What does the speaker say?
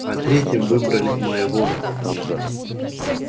а третьим выбрали моего папульку